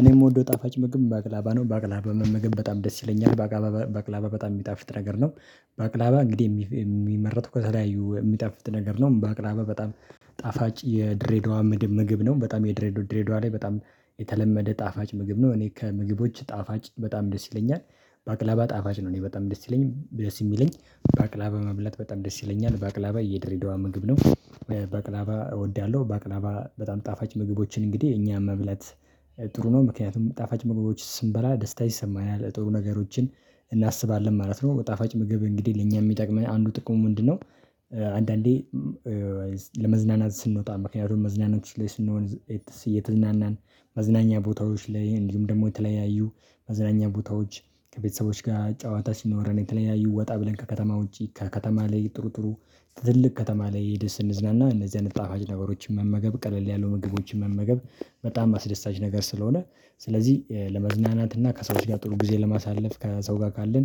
እኔ የምወደው ጣፋጭ ምግብ ባቅላባ ነው ባቅላባ በመመገብ በጣም ደስ ይለኛል ባቅላባ በጣም የሚጣፍጥ ነገር ነው። ባቅላባ እንግዲህ የሚመረጡ ከተለያዩ የሚጣፍጥ ነገር ነው በአቅራቢያ በጣም ጣፋጭ የድሬዳዋ ምድብ ምግብ ነው በጣም የድሬዳዋ ላይ በጣም የተለመደ ጣፋጭ ምግብ ነው እኔ ከምግቦች ጣፋጭ በጣም ደስ ይለኛል ባቅላባ ጣፋጭ ነው እኔ በጣም ደስ ይለኛል ደስ ይለኛል ባቅላባ መብላት በጣም ደስ ይለኛል ባቅላባ የድሬዳዋ ምግብ ነው። ባቅላባ እወዳለሁ ባቅላባ በጣም ጣፋጭ ምግቦችን እንግዲህ እኛም መብለት ጥሩ ነው ምክንያቱም ጣፋጭ ምግቦች ስንበላ ደስታ ይሰማናል ጥሩ ነገሮችን እናስባለን ማለት ነው። ጣፋጭ ምግብ እንግዲህ ለእኛ የሚጠቅመኝ አንዱ ጥቅሙ ምንድነው? አንዳንዴ ለመዝናናት ስንወጣ ምክንያቱም መዝናናቶች ላይ ስንሆን እየተዝናናን መዝናኛ ቦታዎች ላይ እንዲሁም ደግሞ የተለያዩ መዝናኛ ቦታዎች ከቤተሰቦች ጋር ጨዋታ ሲኖረን የተለያዩ ወጣ ብለን ከከተማ ውጪ ከከተማ ላይ ጥሩ ጥሩ ትልቅ ከተማ ላይ ሂደን ስንዝናና እነዚህ አይነት ጣፋጭ ነበሮችን መመገብ ቀለል ያለው ምግቦችን መመገብ በጣም አስደሳች ነገር ስለሆነ ስለዚህ ለመዝናናት እና ከሰዎች ጊዜ ጥሩ ጊዜ ለማሳለፍ ከሰው ጋር ካለን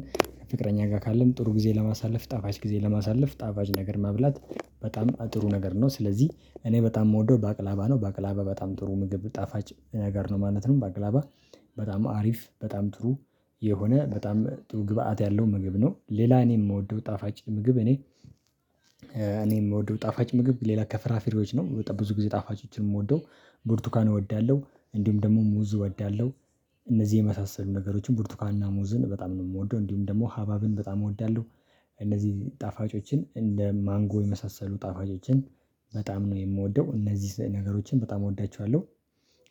ፍቅረኛ ጋር ካለን ጥሩ ጊዜ ለማሳለፍ ጣፋጭ ጊዜ ለማሳለፍ ጣፋጭ ነገር ማብላት በጣም ጥሩ ነገር ነው። ስለዚህ እኔ በጣም የምወደው ባቅላባ ነው ባቅላባ በጣም ጥሩ ምግብ ጣፋጭ ነገር ነው ማለት ነው። በአገላባ በጣም አሪፍ በጣም ጥሩ የሆነ በጣም ጥሩ ግብአት ያለው ምግብ ነው። ሌላን የምወደው ጣፋጭ ምግብ እኔ እኔ የምወደው ጣፋጭ ምግብ ሌላ ከፍራፍሬዎች ነው በጣም ብዙ ጊዜ ጣፋጮችን የምወደው ብርቱካን እወዳለሁ እንዲሁም ደግሞ ሙዝ እወዳለሁ እነዚህ የመሳሰሉ ነገሮችን ብርቱካንና ሙዝን በጣም ነው የምወደው እንዲሁም ደግሞ ሀባብን በጣም እወዳለሁ። እነዚህ ጣፋጮችን እንደ ማንጎ የመሳሰሉ ጣፋጮችን በጣም ነው የምወደው እነዚህ ነገሮችን በጣም እወዳቸዋለሁ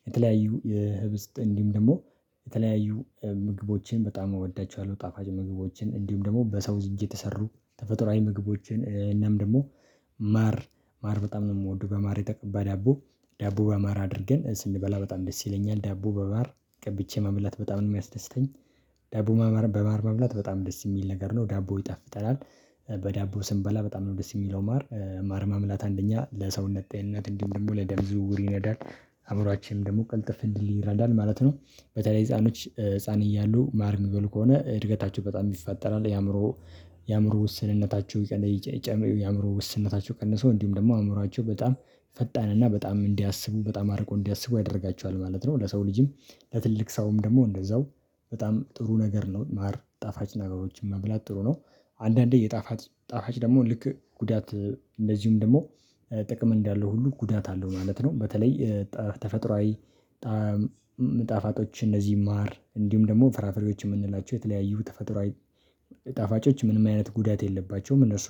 የተለያዩ የህብስት እንዲሁም ደግሞ የተለያዩ ምግቦቼን በጣም እወዳቸዋለሁ ጣፋጭ ምግቦችን እንዲሁም ደግሞ በሰው እጅ የተሰሩ ተፈጥሮአዊ ምግቦችን እናም ደግሞ ማር ማር በጣም ነው የምወደው። ማር የተቀባ ዳቦ ዳቦ በማር አድርገን ስንበላ በጣም ደስ ይለኛል ዳቦ በባር ቀብቼ መብላት በጣም ነው የሚያስደስተኝ ዳቦ በማር መብላት በጣም ደስ የሚል ነገር ነው ዳቦ ይጣፍጠናል በዳቦ ስንበላ በጣም ነው ደስ የሚለው ማር ማር መብላት አንደኛ ለሰውነት ጤንነት እንዲህ ደግሞ ለደም ዝውውር ይነዳል አእምሮአችንም ደግሞ ቅልጥፍ እንዲል ይረዳል ማለት ነው። በተለይ ህፃኖች ህፃን እያሉ ማር ሚበሉ ከሆነ እድገታችሁ በጣም ይፈጠራል የአእምሮ የአእምሮ ውስንነታቸው የአእምሮ ውስንነታቸው ቀነሰው እንዲሁም ደግሞ አእምሮአቸው በጣም ፈጣን እና በጣም እንዲያስቡ በጣም አርቆ እንዲያስቡ ያደርጋቸዋል ማለት ነው። ለሰው ልጅም ለትልቅ ሰውም ደግሞ እንደዛው በጣም ጥሩ ነገር ነው ማር ጣፋጭ ነገሮችን መብላት ጥሩ ነው። አንዳንዴ የጣፋጭ ጣፋጭ ደግሞ ልክ ጉዳት እንደዚሁም ደግሞ ጥቅም እንዳለው ሁሉ ጉዳት አለው ማለት ነው። በተለይ ተፈጥሮአዊ ጣፋጮች እነዚህ ይማር እንዲሁም ደግሞ ፍራፍሬዎች የምንላቸው የተለያዩ ተፈጥሮአዊ ጣፋጮች ምንም አይነት ጉዳት የለባቸውም እነሱ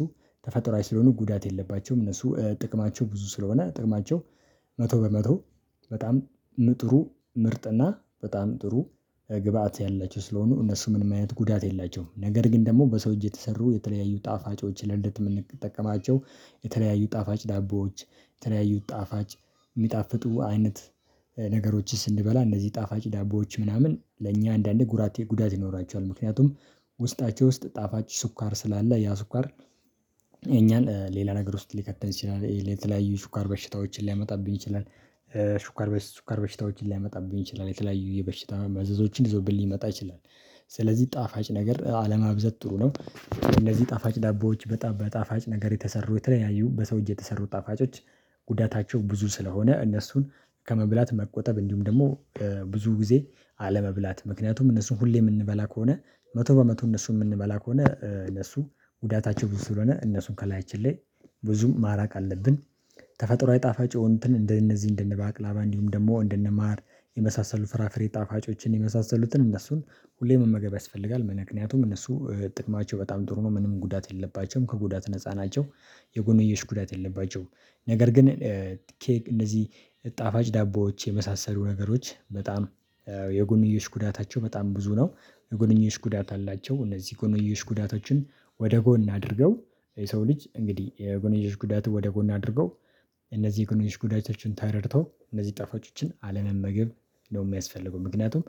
ተፈጥሮአዊ ስለሆኑ ጉዳት የለባቸውም። እነሱ ጥቅማቸው ብዙ ስለሆነ ጥቅማቸው መቶ በመቶ በጣም ምጥሩ ምርጥና በጣም ጥሩ ግብአት ያላቸው ስለሆኑ እነሱ ምንም አይነት ጉዳት የላቸውም። ነገር ግን ደግሞ በሰው እጅ የተሰሩ የተለያዩ ጣፋጮች ላይ እንድትጠቀማቸው የተለያዩ ጣፋጭ ዳቦዎች የተለያዩ ጣፋጭ የሚጣፍጡ አይነት ነገሮችን ስንበላ እነዚህ ጣፋጭ ዳቦዎች ምናምን ለእኛ አንዳንድ ጉዳት ይኖራቸዋል ምክንያቱም ውስጣቸው ውስጥ ጣፋጭ ስኳር ስላለ ያ ስኳር እኛን ሌላ ነገር ውስጥ ሊከት ይችላል የተለያዩ ሽኳር በሽታዎችን ሊያመጣብኝ ይችላል ሽኳር በሽታዎችን ሊያመጣብኝ ይችላል የተለያዩ የበሽታ መዘዞችን ይዞብኝ ሊመጣ ይችላል። ስለዚህ ጣፋጭ ነገር አለማብዛት ጥሩ ነው። እነዚህ ጣፋጭ ዳቦዎች በጣፋጭ ነገር የተሰሩ የተለያዩ በሰው እየተሰሩ ጣፋጮች ጉዳታቸው ብዙ ስለሆነ እነሱን ከመብላት መቆጠብ እንዲሁም ደግሞ ብዙ ጊዜ አለመብላት ምክንያቱም እነሱን ሁሌ የምንበላ ከሆነ መቶ በመቶ እነሱን የምንበላ ከሆነ እነሱ ጉዳታቸው ብዙ ስለሆነ እነሱን ከላያችን ላይ ብዙም ማራቅ አለብን። ተፈጥሮአዊ ጣፋጭ የሆንንትን እንደነዚህ እንደነ ባቅላባ እንዲሁም ደግሞ እንደነማር የመሳሰሉ ፍራፍሬ ጣፋጮችን የመሳሰሉትን እነሱን ሁሌም መመገብ ያስፈልጋል ምክንያቱም እነሱ ጥቅማቸው በጣም ጥሩ ነው ምንም ጉዳት የለባቸውም ከጉዳት ነፃ ናቸው። የጎንየሽ ጉዳት የለባቸውም ነገር ግን ኬክ እንደዚህ ጣፋጭ ዳቦዎች የመሳሰሉ ነገሮች በጣም የጎንዮሽ ጉዳታቸው በጣም ብዙ ነው። የጎንዮሽ ጉዳት አላቸው እነዚህ ጎንዮሽ ጉዳቶችን ወደ ጎን አድርገው የሰው ልጅ እንግዲህ የጎንዮሽ ጉዳት ወደ ጎን አድርገው እነዚህ የጎንዮሽ ጉዳዮችን ተረድተው እነዚህ ጠፋጮችን አለመመገብ ነው የሚያስፈልገው። ምክንያቱም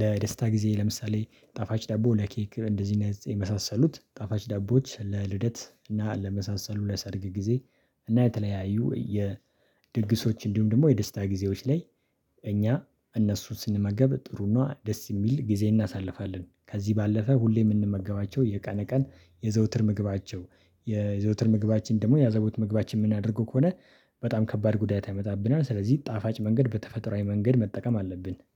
ለደስታ ጊዜ ለምሳሌ ጣፋጭ ዳቦ ለኬክ እንደዚህ የመሳሰሉት ጣፋጭ ዳቦዎች ለልደት እና ለመሳሰሉ ለሰርግ ጊዜ እና የተለያዩ የድግሶች እንዲሁም ደግሞ የደስታ ጊዜዎች ላይ እኛ እነሱን ስንመገብ ጥሩ ነው ደስ የሚል ጊዜ እናሳልፋለን። ከዚህ ባለፈ ሁሌ የምንመገባቸው የቀነ ቀን የዘውትር ምግባቸው የዘውትር ምግባችን ደግሞ ያዘቦት ምግባችን የምናደርገው ከሆነ በጣም ከባድ ጉዳይ ያመጣብናል ስለዚህ ጣፋጭ መንገድ በተፈጥሮአዊ መንገድ መጠቀም አለብን።